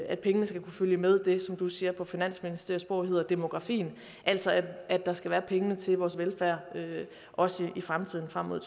at pengene skal kunne følge med det som du siger på finansministeriesprog hedder demografien altså at der skal være pengene til vores velfærd også i fremtiden frem mod